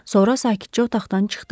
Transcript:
Sonra sakitcə otaqdan çıxdı.